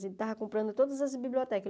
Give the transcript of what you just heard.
Ele estava comprando todas as bibliotecas.